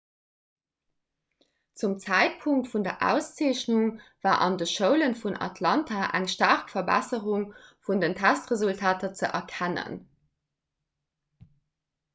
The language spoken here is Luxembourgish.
zum zäitpunkt vun der auszeechnung war an de schoule vun atlanta eng staark verbesserung vun den testresultater ze erkennen